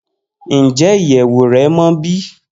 Njẹ iyẹwu rẹ mọ bi?